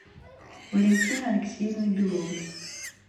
валентины алексеевны беловой